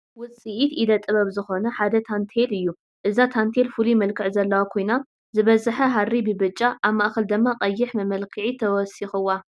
ውፅኢት ኢደ ጥበብ ዝኾነ ሓደ ታንቴል እዩ፡፡ እዛ ታንቴል ፍሉይ መልክዕ ዘለዋ ኮይና ዝበዝሐ ሃሪ ብብጫ ኣብ ማእኸል ድማ ቀይሕ መመልክዒ ተወሲኽዋ፡፡